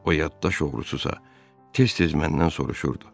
O yaddaş oğrususa, tez-tez məndən soruşurdu: